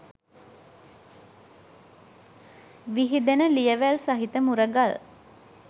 විහිදෙන ලියවැල් සහිත මුරගල්